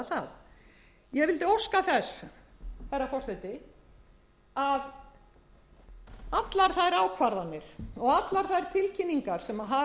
það ég vildi óska þess herra forseti að allar þær ákvarðanir og allar þær tilkynningar sem